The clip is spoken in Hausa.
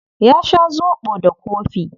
Ya sha zobo da kofi.